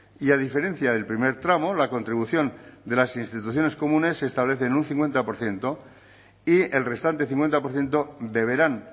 y a diferencia del primer tramo la contribución de las instituciones comunes se establece en un cincuenta por ciento y el restante cincuenta por ciento deberán